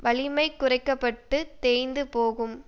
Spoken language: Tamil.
வலிமை குறைக்க பட்டு தேய்ந்து போகும்